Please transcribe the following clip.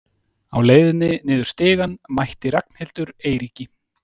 Á leiðinni niður stigann mætti Ragnhildur Eiríki.